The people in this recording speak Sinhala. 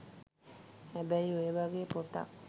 හැබැයි ඔය වගේ පොතක්